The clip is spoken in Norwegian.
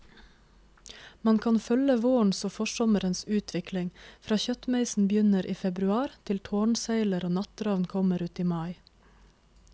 Man kan følge vårens og forsommerens utvikling, fra kjøttmeisen begynner i februar til tårnseiler og nattravn kommer uti mai.